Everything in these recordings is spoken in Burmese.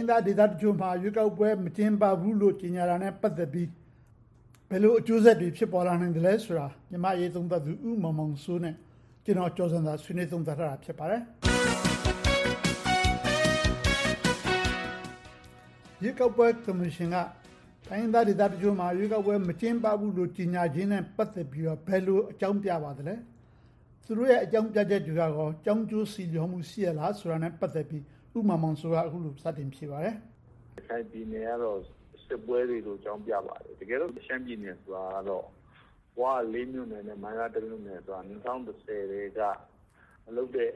င်းသားဒေသတချို့မှာ ရွေးကောက်ပွဲ မကျင်းပဘူးလို့ ကြေညာတာနဲ့ ပတ်သက်ပြီး ဘယ်လိုအကျိုးဆက်တွေ ဖြစ်ပေါ်လာနိုင်မလဲဆိုတာကို မြန်မာ့အရေးသုံးသပ်သူ ဦးမောင်မောင်စိုးနဲ့ ဦးကျော်ဇံသာတို့ ဆွေးနွေးသုံးသပ်ထားပါတယ်။ မေး ။ ။ ရွေးကောက်ပွဲကော်မရှင်က တိုင်းရင်းသားဒေသတချို့မှာ ရွေးကောက်ပွဲ မကျင်းပဘူးလို့ ကြေညာချက်နဲ့ ပတ်သက်ပြီးတော့ ဘယ်လိုအကြောင်းပြပါသလဲ။ သူတို့ရဲ့ အကြောင်းပြချက်တွေက ကြောင်းကျိုးဆီလှော်မှု ရှိပါသလားဆိုတာကို ဦးမောင်မောင်စိုးက အခုလို ဖြေကြားပါတယ်။ ဖြေ ။ ။ ရခိုင်ပြည်နယ်ကတော့ စစ်ပွဲတွေကြောင့်လို့ ဆိုပါတယ်။ တကယ်တော့ ရှမ်းပြည်နယ်ဆိုတာကတော့ ဝ မြို့နယ်နဲ့ မိုင်းလား မြို့နယ်က ၂၀၁၀ ကတည်းက မလုပ်တဲ့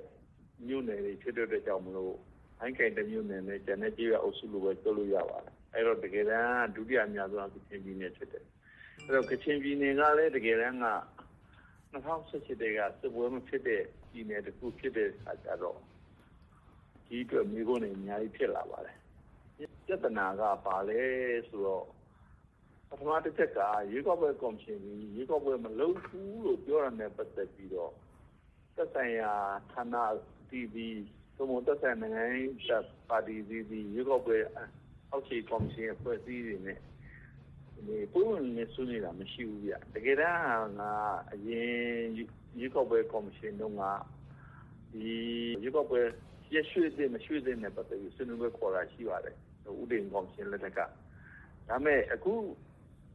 မြို့နယ်တွေ ဖြစ်တဲ့အတွက်ကြောင့် မိုင်းကိုင်တစ်မြို့နယ်ပဲ ကျန်တဲ့ကျေးရွာအုပ်စုလို့ပဲ ပြောလို့ရပါတယ်။ အဲဒီတော့ တကယ်တမ်း ဒုတိယအများဆုံးက ကချင်ပြည်နယ် ဖြစ်တယ်။ ကချင်ပြည်နယ်ကလဲ တကယ်တမ်းက ၂၀၁၈ ကတည်းက စစ်ပွဲမဖြစ်တဲ့ ပြည်နယ်တစ်ခု ဖြစ်တဲ့အခါကြတော့ ဒီအတွက် မေးခွန်းတွေ အများကြီး ဖြစ်လာပါတယ်။ ပြဿနာက ဘာလဲဆိုတော့ ပထမတစ်ချက်က ရွေးကောက်ပွဲကော်မရှင်သည် ရွေးကောက်ပွဲ မလုပ်ဘူးလို့ ပြောတာနဲ့ ပတ်သက်ပြီးတော့ သက်ဆိုင်ရာဌာနအသီးသီး သက်ဆိုင်ရာ နိုင်ငံရေးပါတီအသီးသီး၊ ရွေးကောက်ပွဲ အောက်ခြေအဖွဲ့အစည်းတွေနဲ့ ပွင့်ပွင့်လင်းလင်း ဆွေးနွေးတာ မရှိဘူး။ တကယ်တမ်းက အရင်ရွေးကောက်ပွဲ ကော်မရှင်တုန်းက ရွေးကောက်ပွဲ ရက်ရွှေ့သင့်မသင့်နဲ့ ပတ်သက်ပြီး ဆွေးနွေးပွဲခေါ်တာ ရှိပါတယ်။ ဦးတင်အေးကော်မရှင် လက်ထက်က။ ဒါပေမဲ့ အခု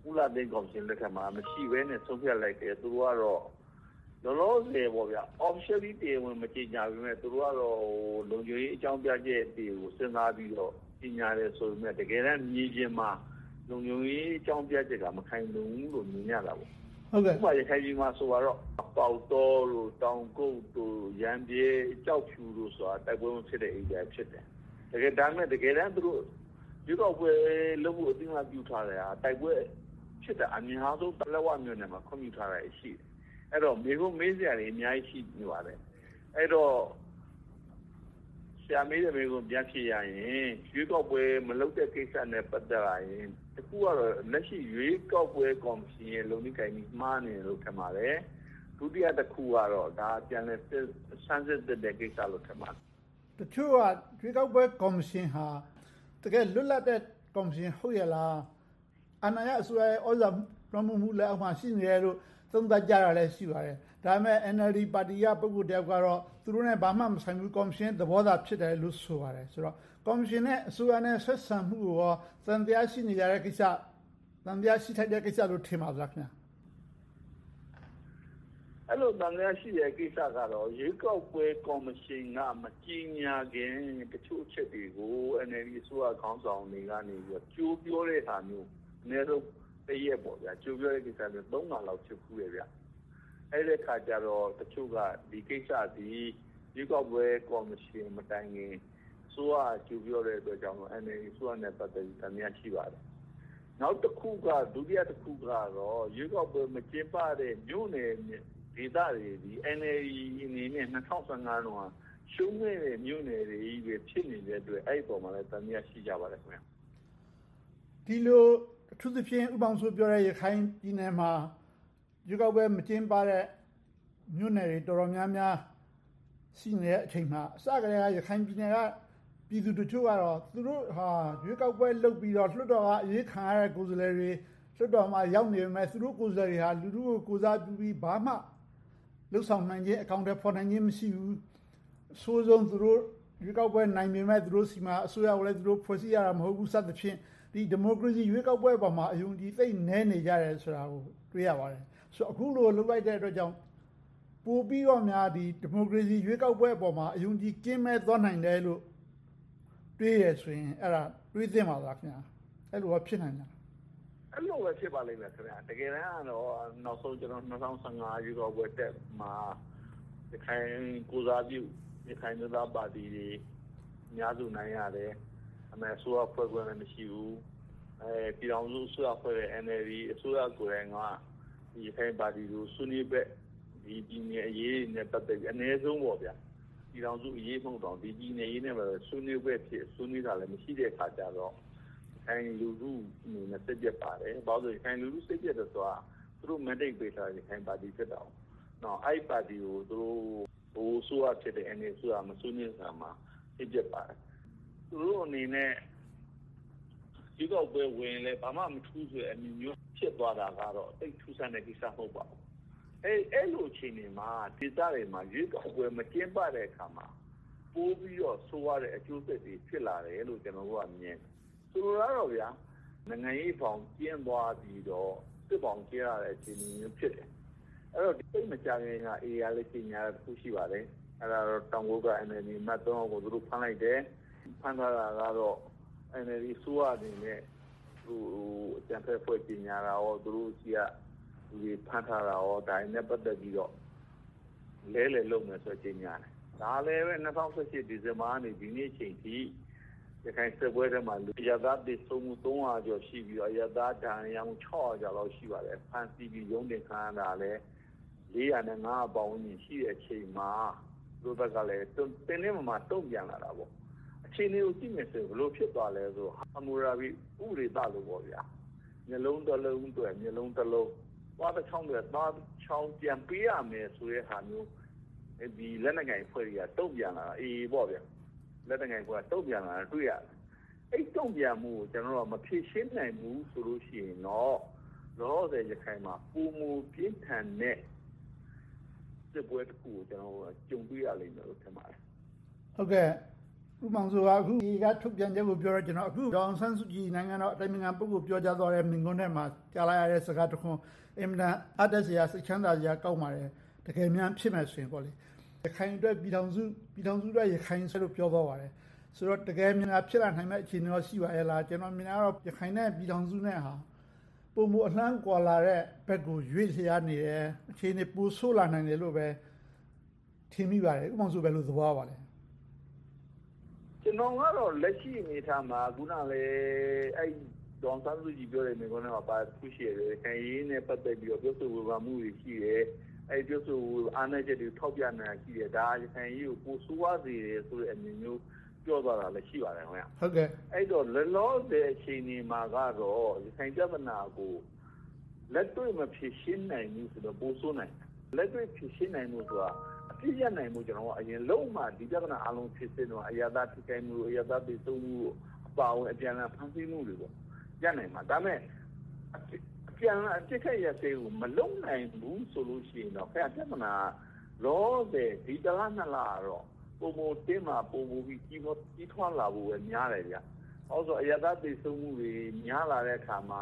ဦးလှသိန်းကော်မရှင်လက်ထက်မှာ မရှိဘဲနဲ့ ဆုံးဖြတ်လိုက်တယ်။ သူကတော့ လောလောဆယ် officially မကြေညာပေမယ့် သူတို့ကတော့ လုံခြုံရေးအကြောင်းပြချက်တွေကို စဉ်းစားပြီးတော့ ကြေညာတယ်ဆိုပေမယ့် တကယ်တမ်း မြေပြင်မှာ လုံခြုံရေးအကြောင်းပြချက်က မခိုင်လုံဘူးလို့ မြင်ရတာပေါ့။ ဥပမာ ရခိုင်ပြည်နယ်မှာဆိုပါတော့ ပေါက်တော၊ တောင်ကုပ်၊ ရမ်းဗြဲ၊ ကျောက်ဖြူတို့ဆိုတာ တိုက်ပွဲမဖြစ်တဲ့ ဒေသတွေ ဖြစ်တယ်။ ဒါပေမဲ့ တကယ်တမ်း ရွေးကောက်ပွဲလုပ်ဖို့ အသိအမှတ်ပြုထားတဲ့ တိုက်ပွဲအများဆုံးဖြစ်တဲ့ ပလက်ဝမြို့နယ်မှာ ခွင့်ပြုထားတာတွေ ရှိတယ်။ အဲဒီတော့ မေးခွန်းမေးစရာတွေ အများကြီး ရှိနေပါတယ်။ ဆရာမေးတဲ့မေးခွန်းကို ပြန်ဖြေရရင် ရွေးကောက်ပွဲမလုပ်တဲ့ ကိစ္စနဲ့ ပတ်သက်လာရင် တစ်ခုကတော့ လက်ရှိရွေးကောက်ပွဲ ကော်မရှင်ရဲ့ လုပ်နည်းကိုင်နည်း မှားနေတယ်လို့ ထင်ပါတယ်။ ဒုတိယတစ်ခုက ဒါက ပြန်လည်စမ်းစစ်သင့်တဲ့ ကိစ္စလို့ ထင်ပါတယ်။ မေး ။ ။ တချို့က ရွေးကောက်ပွဲကော်မရှင်ဟာ တကယ်ကို လွတ်လပ်တဲ့ ကော်မရှင် ဟုတ်ရဲ့လား။ အာဏာရအစိုးရရဲ့ သြဇာလွှမ်းမိုးမှုလက်အောက်မှာ ရှိနေတယ်လို့ သုံးသပ်ကြတာလဲ ရှိကြပါတယ်။ ဒါပေမဲ့ NLD ပါတီက ပုဂ္ဂိုလ်တစ်ယောက်ကတော့ သူတို့နဲ့ ဘာမှမဆိုင်ဘူး။ ကော်မရှင်ရဲ့သဘောသာ ဖြစ်တယ်လို့ ဆိုပါတယ်။ ဆိုတော့ ကော်မရှင်နဲ့ အစိုးရ ဆက်ဆံမှုကို သံသယရှိနေကြတဲ့ကိစ္စ၊ သံသယရှိထိုက်တဲ့ကိစ္စလို့ ထင်ပါသလား။ ဖြေ ။ ။ အဲဒီလို သံသယရှိတဲ့ကိစ္စကတော့ ရွေးကောက်ပွဲကော်မရှင်က မကြေညာခင် တချို့အချက်တွေကို NLD အစိုးရခေါင်းဆောင်တွေက ကြိုပြောတဲ့ဟာမျိုး အနည်းဆုံး တစ်ရက်ပေါ့။ ကြိုပြောတာ ခါလောက် ဖြစ်ဖူးတယ်။ အဲဒီအခါကြတော့ ဒီကိစ္စသည် ရွေးကောက်ပွဲကော်မရှင်မတိုင်ခင် အစိုးရက ကြိုပြောတဲ့အတွက်ကြောင့် NLD အစိုးရနဲ့ ပတ်သက်ပြီး သံသယ ရှိပါတယ်။ ဒုတိယတစ်ခုကတော့ ရွေးကောက်ပွဲမကျင်းပတဲ့ မြို့နယ်ဒေသတွေသည် NLD အနေနဲ့ ၂၀၁၅ တုန်းက ရှုံးခဲ့တဲ့ မြို့နယ်တွေ ဖြစ်နေတဲ့အတွက် အဲဒီအပေါ်မှာ သံသယ ရှိကြပါတယ်။ မေး ။ ။ ဒီလို ဦးမောင်စိုးပြောတဲ့ ရခိုင်ပြည်နယ်မှာ ရွေးကောက်ပွဲမကျင်းပတဲ့ မြို့နယ်တွေ တော်တော်များများ ရှိနေတဲ့အချိန်မှာ အစကတည်းက ရခိုင်ပြည်နယ်က ပြည်သူတချို့က သူတို့ဟာ ရွေးကောက်ပွဲလုပ်ပြီးတော့ လွှတ်တော်က အရွေးခံရတဲ့ ကိုယ်စားလှယ်တွေ လွှတ်တော်မှာ ရောက်နေပေမယ့် သူတို့ကိုယ်စားလှယ်တွေဟာ လူထုကို ကိုယ်စားပြုပြီး ဘာမှလုပ်ဆောင်နိုင်ခြင်း အကောင်အထည်ဖော်နိုင်ခြင်း မရှိဘူး။ အဆိုးဆုံး သူတို့ရွေးကောက်ပွဲ နိုင်ပေမယ့် သူတို့ဆီမှာ အစိုးရကိုလဲ သူတို့ဖွဲ့စည်းနိုင်တာ မဟုတ်ဘူး စသည်ဖြင့် ဒီမိုကရေစီ ရွေးကောက်ပွဲပေါ်မှာ အယုံအကြည် သိပ်နည်းနေကြတယ်ဆိုတာကို တွေ့ရပါတယ်။ အခုလို လုပ်လိုက်တဲ့အတွက်ကြောင့် ပိုပြီးတော့များ ဒီမိုကရေစီ ရွေးကောက်ပွဲပေါ် အယုံအကြည် ကင်းမဲ့သွားနိုင်တယ်လို့ တွေးတယ်ဆိုရင် တွေးသင့်ပါသလား။ အဲဒီလိုကော ဖြစ်နိုင်သလား။ ဖြေ ။ ။ အဲဒီလိုပဲ ဖြစ်ပါလိမ့်မယ်။ တကယ်တမ်းကတော့ နောက်ဆုံး ၂၀၁၅ ရွေးကောက်ပွဲမှာ ရခိုင်ကိုယ်စားပြု ရခိုင်အမျိုးသားပါတီတွေ အများစုအနိုင်ရတယ်။ ဒါပေမဲ့ အစိုးရဖွဲ့ခွင့်လဲ မရှိဘူး။ ပြည်ထောင်စုအစိုးရဖွဲ့တဲ့ NLD အစိုးရပါတီက ရခိုင်ပါတီတွေကို ဆွေးနွေးဘက် ပြည်နယ်အရေးတွေနဲ့ ပတ်သက်ပြီးတော့ အနည်းဆုံး ပြည်ထောင်စုအရေးမဟုတ်တောင် ပြည်နယ်အရေးနဲ့ ပတ်သက်ပြီး ဆွေးနွေးဘက်အဖြစ် ဆွေးနွေးတာလဲ မရှိတဲ့အခါကြတော့ ရခိုင်လူထုအနေနဲ့ စိတ်ပျက်ပါတယ်။ ဘာဖြစ်လို့လဲဆိုတော့ ရခိုင်လူထု စိတ်ပျက်တယ်ဆိုတာ သူတို့ mandate ပေးထားတာ ရခိုင်ပါတီ ဖြစ်တယ်။ အဲဒီပါတီကို ဗဟိုအစိုးရဖြစ်တဲ့ NLD အစိုးရက မဆွေးနွေးတဲ့အခါမှာ စိတ်ပျက်ပါတယ်။ သူတို့အနေနဲ့ ရွေးကောက်ပွဲဝင်ရင်လဲ ဘာမှမထူးဘူးဆိုတဲ့ အမြင်မျိုး ဖြစ်သွားတာကတော့ သိပ်ထူးဆန်းတဲ့ကိစ္စ မဟုတ်ပါဘူး။ အဲဒီလိုအခြေအနေမှာ ဒီဒေသတွေမှာ ရွေးကောက်ပွဲ မကျင်းပတဲ့အခါမှာ ပိုပြီးတော့ ဆိုးဝါးတဲ့အကျိုးဆက်တွေ ပိုဖြစ်လာတယ်လို့ ကျနော်တို့က မြင်တယ်။ ဆိုလိုတာကတော့ နိုင်ငံရေးဘောင်ကျဉ်းသွားပြီးတော့ စစ်ဘောင်ကျယ်လာတဲ့ အခြေအနေမျိုး ဖြစ်တယ်။ သိပ်မကြာသေးခင်က AA ကလဲ ကြေညာတာ တစ်ခု ရှိပါတယ်။ အဲဒါက တောင်ကုတ်က NLD အမတ် ယောက်ကို ဖမ်းလိုက်တယ်။ ဖမ်းသွားတာကတော့ NLD အစိုးရအနေနဲ့ အကြမ်းဖက်အဖွဲ့အစည်း ကြေညာတာနဲ့ သူတို့ဆီကလူတွေ ဖမ်းထားတာတွေနဲ့ ပတ်သက်ပြီးတော့ အလဲှအလှယ်လုပ်မယ်လို့ ကြေညာတယ်။ ဒါကလဲ ၂၀၁၈ ဒီဇင်ဘာကနေ ဒီနေ့အချိန်အထိ ရခိုင်စစ်ပွဲအတွင်းမှာ အရပ်သားသေဆုံးမှု ကျော်ရှိပြီး၊ အရပ်သားဒဏ်ရာရမှု ကျော်လောက် ရှိပါတယ်။ ဖမ်းဆီးပြီး ရုံးတင်ခံရတာလဲ လေးရာနဲ့ငါးရာ ပတ်ဝန်းကျင် ရှိတဲ့အချိန်မှာ သူတို့ဘက်ကလဲ တင်းတင်းမာမာ တုံ့ပြန်လာတာပေါ့။ အခြေအနေကို ကြည့်မယ်ဆိုရင် ဘယ်လိုဖြစ်သွားသလဲဆိုတော့ ဟမ္မူရာဘီ ဥပဒေသလိုပေါ့ - မျက်လုံးတစ်လုံးအတွက် မျက်လုံးတစ်လုံး၊ သွားတစ်ချောင်းအတွက် သွားတစ်ချောင်း ပြန်ပေးရမယ်ဆိုတဲ့ဟာမျိုး လက်နက်ကိုင်အဖွဲ့တွေက တုံ့ပြန်လာတာကို တွေ့ရတယ်။ အဲဒီတုံ့ပြန်မှုကို ကျနော်တို့က မဖြေရှင်းနိုင်ဘူးဆိုလို့ရှိရင်တော့ လောလောဆယ် ရခိုင်မှာ ပိုမိုပြင်းထန်တဲ့ စစ်ပွဲတစ်ခုကို ကြုံတွေ့ရမယ်လို့ ထင်ပါတယ်။ မေး ။ ။ ဦးမောင်မောင်စိုးက AA က ထုတ်ပြန်ချက်ကိုပြောလို့ ဒေါ်အောင်ဆန်းစုကြည် နိုင်ငံတော်အတိုင်ပင်ခံပုဂ္ဂိုလ် ပြောကြားသွားတဲ့ မိန့်ခွန်းထဲမှာ ကြားလိုက်ရတဲ့ စကားတစ်ခွန်း အင်မတန် အားတတ်စရာ၊ စိတ်ချမ်းသာစရာ ကောင်းပါတယ်။ တကယ်မြန် ဖြစ်မယ်ဆိုရင်ပေါ့။ ရခိုင်အတွက် ပြည်ထောင်စုအတွက် ရခိုင်လို့ ပြောသွားပါတယ်။ ဆိုတော့ တကယ်များ ဖြစ်လာနိုင်မယ့် အခြေအနေကော ရှိပါရဲ့လား။ ကျနော်မြင်တာကတော့ ရခိုင်နဲ့ ပြည်ထောင်စုနဲ့ဟာ ပိုမိုအလှမ်းကွာလာတဲ့ဘက်ကို ရွေ့လျားနေတယ်။ အခြေအနေ ပိုဆိုးလာနိုင်တယ်လို့ပဲ ထင်မိပါတယ်။ ဦးမောင်မောင်စိုး ဘယ်လိုသဘောရပါသလဲ။ ဖြေ ။ ။ ကျနော်ကတော့ လက်ရှိအနေအထားမှာ အခုနလဲ ဒေါ်အောင်ဆန်းစုကြည်ပြောတဲ့ မိန့်ခွန်းထဲမှာပါတာ တစ်ခုရှိတယ်။ ရခိုင်အရေးနဲ့ ပတ်သက်ပြီး ပြောဆိုဝေဖန်မှုတွေ ရှိတယ်။ အဲဒီပြောဆိုဝေဖန်မှုတွေက အားနည်းချက်တွေကို ထောက်ပြနေတာ ရှိတယ်။ ဒါက ရခိုင်အရေးကို ပိုဆိုးသွားစေတဲ့ အမြင်မျိုး ပြောသွားတာလည်း ရှိပါတယ်။ အဲဒီတော့ လောလောဆယ် အခြေအနေမှာကတော့ ရခိုင်ပြဿနာကို လက်တွေ့မဖြေရှင်းနိုင်ဘူးဆိုရင်တော့ ပိုဆိုးနိုင်တယ်။ လက်တွေ့ဖြေရှင်းနိုင်ဖို့ဆိုတာ အပြစ်ရပ်နိုင်ဖို့ အရင်လုပ်မှ ဒီပြဿနာအားလုံး ဖြေရှင်းနိုင်မှာ။ အရပ်သားတွေ ထိခိုက်မှု၊ အရပ်သားတွေသေဆုံးမှု၊ အပြန်အလှန်ဖမ်းဆီးမှုတွေရှိမှ ရပ်နိုင်မှာ။ ဒါပေမဲ့ အပြန်အလှန် ပစ်ခတ်ရပ်စဲရေးကို မလုပ်နိုင်ဘူးဆိုရင်တော့ ပြဿနာက လောလောဆယ် ဒီတစ်လနှစ်လကတော့ ပိုမိုတင်းမာ၊ ပိုမိုကြီးထွားလာဖို့ပဲများတယ်။ ဘာဖြစ်လို့လဲဆိုတော့ အရပ်သားသေဆုံးမှုတွေ များလာတဲ့အခါမှာ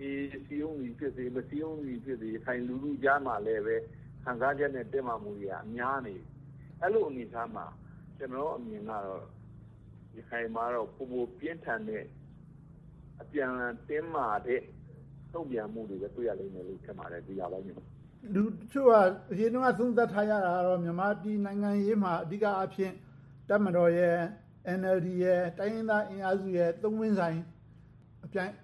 AA စည်းရုံးသည်ဖြစ်စေ၊ မစည်းရုံးသည်ဖြစ်စေ ရခိုင်လူထုကြားထဲမှာလဲ ခံစားချက်နဲ့ တင်းမာမှုတွေက များလာနေပြီ။ အဲဒီလိုအနေအထားမှာ ကျနော့်အမြင်ကတော့ ရခိုင်မှာတော့ ပိုမိုပြင်းထန်တဲ့ အပြန်အလှန်တင်းမာတဲ့ တုံ့ပြန်မှုတွေပဲ တွေ့ရလိမ့်မယ်လို့ ထင်ပါတယ်။ မေး ။ ။ လူတချို့က အရင်တုန်းက သုံးသပ်ထားကြတာက မြန်မာပြည်နိုင်ငံရေးမှာ အဓိကအားဖြင့် တပ်မတော်၊ NLD နဲ့ တိုင်းရင်းသားအင်အားစုတွေ သုံးပွင့်ဆိုင်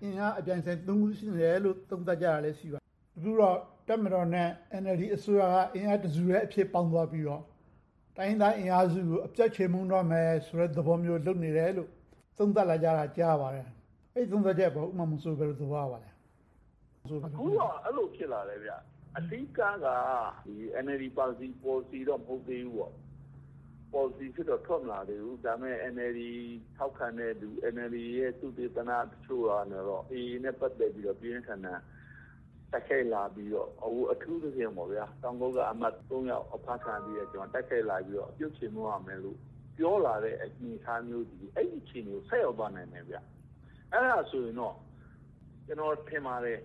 အင်အားအပြိင်အဆိုင် ရှိနေတယ်လို့ သုံးသပ်ကြတာတွေ ရှိပါတယ်။ အခုတော့ တပ်မတော်နဲ့ NLD အစိုးရက အင်အားတစ်စုထဲ ပေါင်းသွားပြီးတော့ တိုင်းရင်းသားအင်အားစုတွေကို အပြတ်ချေမှုန်းသွားမယ့် သဘောမျိုး လုပ်နေတယ်လို့ သုံးသပ်လာကြတာကို ကြားသိရပါတယ်။ အဲဒီသုံးသပ်ချက်ကို ဦးမောင်မောင်စိုး ဘယ်လိုသဘောရပါသလဲ။ မေး ။ ။ အခုကတော့ အဲဒီလိုဖြစ်လာတယ်။ အဓိကက NLD ပေါ်လစီတော့ မဟုတ်သေးဘူး။ ပေါ်လစီအဖြစ်နဲ့တော့ ထွက်မလာသေးဘူး။ ဒါပေမဲ့ NLD ထောက်ခံတဲ့လူတွေ၊ NLD ရဲ့ သုတေသနတချို့ကတော့ AA နဲ့ ပတ်သက်လို့ ပြင်းပြင်းထန်ထန် တိုက်ခိုက်လာပြီးတော့ အထူးသဖြင့် တောင်ကုတ်က အမတ်သုံးယောက်အဖမ်းခံရပြီး တိုက်ခိုက်လာပြီးတော့ အပြုတ်ချေမှုန်းရမယ်လို့ ပြောလာတဲ့ အနေအထားမျိုးသည် အဲဒီအခြေအနေကို ဆိုက်ရောက်သွားနိုင်တယ်။ အဲဒါဆိုရင်တော့ ကျနော်ထင်ပါတယ်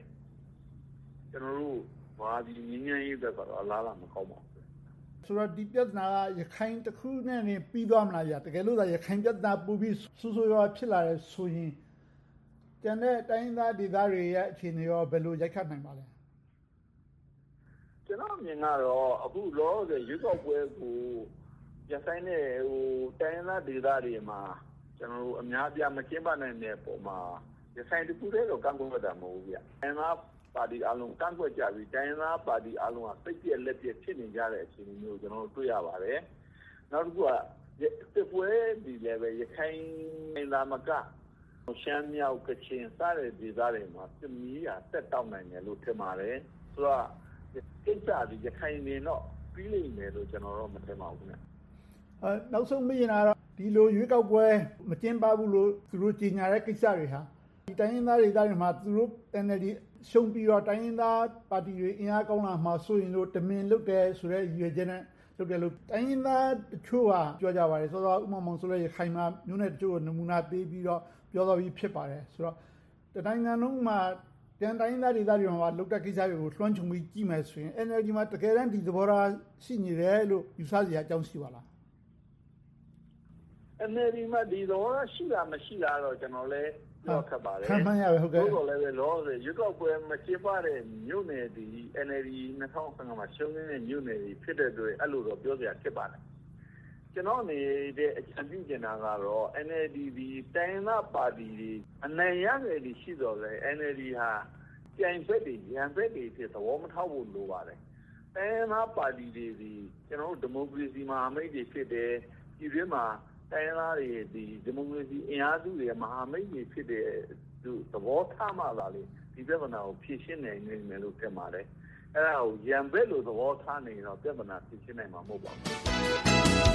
။ ကျနော်တို့ ဗမာပြည်ငြိမ်းချမ်းရေးအတွက်တော့ အလားအလာ မကောင်းပါဘူး။ ဖြေ ။ ။ ဆိုတော့ ဒီပြဿနာက ရခိုင်တစ်ခုတည်းနဲ့ ပြီးသွားမလား။ တကယ်လို့များ ရခိုင်ပြဿနာ ပိုပြီးတော့ ဆိုးဆိုးဝါးဝါး ဖြစ်လာတယ်ဆိုရင် ကျန်တဲ့တိုင်းရင်းသားဒေသတွေရဲ့ အခြေအနေက ဘယ်လိုရိုက်ခတ်လာနိုင်ပါသလဲ။ ကျနော့်အမြင်ကတော့ အခုလောလောဆယ် ရွေးကောက်ပွဲကို ရပ်ဆိုင်းတဲ့ တိုင်းရင်းသားဒေသတွေမှာ အများအပြား မကျင်းပနိုင်တဲ့အပေါ်မှာ ရခိုင်တစ်ခုတည်းတော့ ကန့်ကွက်တာ မဟုတ်ဘူး။ တိုင်းရင်းသားပါတီတွေအားလုံး ကန့်ကွက်ကြပြီးတော့ စိတ်ပျက်လက်ပျက် ဖြစ်နေကြတဲ့ အခြေအနေမျိုးကို တွေ့ရပါတယ်။ နောက်တစ်ခုက စစ်ပွဲတွေအနေနဲ့ ရခိုင်သာမက ရှမ်းမြောက်၊ ကချင် စတဲ့ ဒေသတွေမှာ စစ်မီးက ဆက်တောက်နိုင်မယ်လို့ ထင်ပါတယ်။ ဆိုတော့ ဒီကိစ္စက ရခိုင်တင်တော့ ပြီးလိမ့်မယ်လို့ မထင်ပါဘူး။ မေး ။ ။ နောက်ဆုံးမေးချင်တာကတော့ ဒီလိုရွေးကောက်ပွဲ မကျင်းပဘူးလို့ သူတို့ကြေညာတဲ့ကိစ္စတွေဟာ တိုင်းရင်းသားဒေသတွေမှာ သူတို့ NLD ရှုံးပြီးတော့ တိုင်းရင်းသားပါတီတွေ အင်အားကောင်းလာမှာကို စိုးရိမ်လို့ တမင်လုပ်တယ်ဆိုတဲ့ ရည်ရွယ်ချက်နဲ့ လုပ်တယ်လို့ တိုင်းရင်းသားတချို့က ပြောကြပါတယ်။ စောစောက ဦးမောင်မောင်စိုးလည်း ရခိုင်မှာ မြို့နယ်အချို့ကို နမူနာပေးပြီးတော့ ပြောသွားပြီ ဖြစ်ပါတယ်။ ဆိုတော့ တနိုင်ငံလုံးမှာ ကျန်တိုင်းရင်းသားတွေ လုပ်တဲ့ကိစ္စတွေကို လွှမ်းခြုံပြီး ကြည့်မယ်ဆိုရင် NLD မှာ တကယ်တမ်း ဒီသဘောထား ရှိနေတယ်လို့ ယူဆစရာအကြောင်း ရှိပါသလား။ ဖြေ ။ ။ NLD မှာ ဒီသဘောထား ရှိလား၊ မရှိလားတော့ ကျနော်လည်း ပြောရခက်ပါတယ်။ သို့သော်လဲ လောလောဆယ် ရွေးကောက်ပွဲ မကျင်းပတဲ့ မြို့နယ်တွေက NLD က ၂၀၁၅ မှာ ရှုံးခဲ့တဲ့ မြို့နယ်တွေ ဖြစ်ခဲ့တဲ့အတွက် အဲဒီလိုတော့ ပြောစရာ ဖြစ်နေပါတယ်။ ကျနော့်အနေနဲ့ အကြံပြုချင်တာကတော့ NLD သည် တိုင်းရင်းသားပါတီတွေ အနိုင်ရသည် ရှိခဲ့ရင် NLD က ပြိုင်ဘက်တွေ၊ ရန်ဘက်တွေအဖြစ် သဘောမထားဖို့ လိုပါတယ်။ တိုင်းရင်းသားပါတီတွေသည် ကျနော်တို့ ဒီမိုကရေစီ မဟာမိတ်တွေ ဖြစ်တယ်။ ပြည်တွင်းမှာ တိုင်းရင်းသားတွေသည် ဒီမိုကရေစီအင်အားစုတွေရဲ့ မဟာမိတ်တွေ ဖြစ်တယ်လို့ သဘောထားမှသာ ဒီပြဿနာကို ဖြေရှင်းနိုင်လိမ့်မယ်လို့ ထင်ပါတယ်။ အဲဒါကို ရန်ဘက်လို့ သဘောထားနေရင်တော့ ပြဿနာ ဖြေရှင်းနိုင်မယ် မဟုတ်ပါဘူး